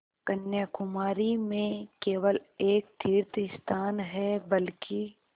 कन्याकुमारी में केवल एक तीर्थस्थान है बल्कि